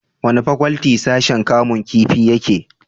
wani fakwalti sashin kamun kifi yake?